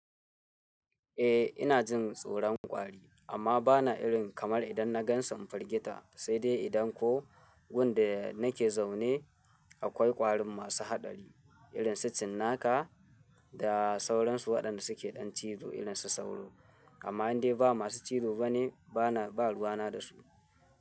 Eh ina jin tsoron kwari amma bana irin kamar idan na gan sun firgita sai dai idan ko wurin da nake zaune akwai kwarin masu haɗari irin su cinnaka da sauransu waɗanda suke ɗan cizo irin su sauro. Amma idan dai ba masu cizo bane babu ruwana da su.